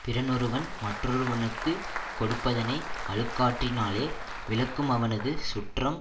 பிறனொருவன் மற்றொருவனுக்குக் கொடுப்பதனை அழுக்காற்றினாலே விலக்குமவனது சுற்றம்